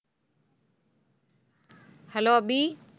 hello Abhi